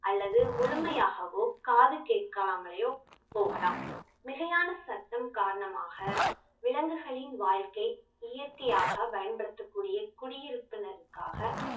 அல்லது முழுமையாகவோ காது கேட்காமலயோ போகலாம் மிகையான சத்தம் காரணமாக விலங்குகளின் வாழ்க்கை இயற்கையாக பயன்படுத்தக்கூடிய குடியிருப்பினருக்காக